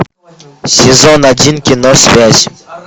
сезон один кино связь